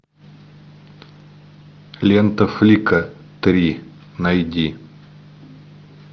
лента флика три найди